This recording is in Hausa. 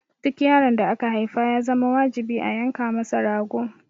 Duk yaron da aka haifa ya zama wajibi a yanka masa rago.